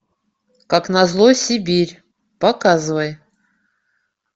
как на зло сибирь показывай